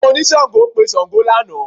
Àwọn oníṣàngó pe Ṣàngó lánàá